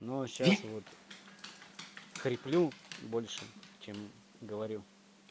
ну а сейчас вот хриплю больше чем говорю